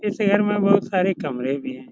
इस घर में बहुत सारे कमरे भी हैं।